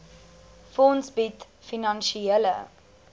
fonds bied finansiële